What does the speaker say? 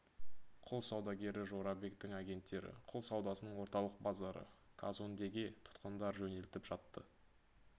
құл саудагері жорабектің агенттері құл саудасының орталық базары казондеге тұтқындар жөнелтіп жатты